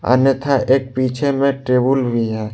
अन्यथा एक पीछे मे टेबुल भी है।